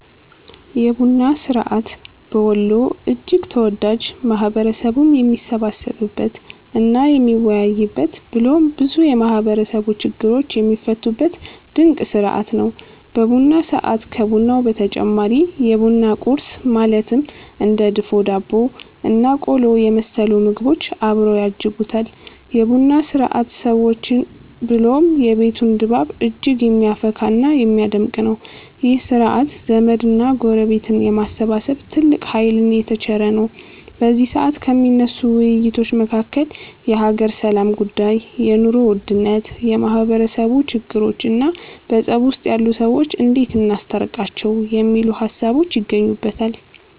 የቡና ስርዐት በወሎ እጅግ ተወዳጅ፣ ማህበረሰቡም የሚሰባሰብበት እና የሚወያይበት ብሎም ብዙ የማህበረሰቡ ችግሮች የሚፈቱበት ድንቅ ስርዐት ነው። በቡና ሰዐት ከቡናው በተጨማሪ የቡና ቁረስ ማለትም እንደ ድፎ ዳቦ እና ቆሎ የመሰሉ ምግቦች አብረው ያጅቡታል። የ ቡና ስርዐት ሰዎችን ብሎም የቤቱን ድባብ እጅግ የሚያፈካ እና የሚያደምቅ ነው። ይህ ስርዐት ዘመድ እና ጎረቤትን የማሰባሰብ ትልቅ ሃይልን የተቸረ ነው። በዚ ሰዐት ከሚነሱ ውይይቶች መካከል የሃገር ሰላም ጉዳይ፣ የ ኑሮ ውድነት፣ የማህበረሰቡ ችግሮቾ እና በፀብ ውስጥ ያሉ ሰዎችን እንዴት እናስታርቃቸው የሚሉት ሃሳቦች ይገኙበተል።